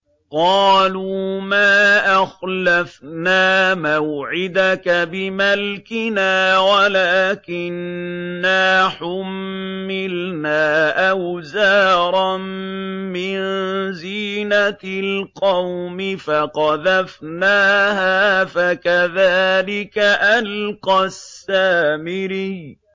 قَالُوا مَا أَخْلَفْنَا مَوْعِدَكَ بِمَلْكِنَا وَلَٰكِنَّا حُمِّلْنَا أَوْزَارًا مِّن زِينَةِ الْقَوْمِ فَقَذَفْنَاهَا فَكَذَٰلِكَ أَلْقَى السَّامِرِيُّ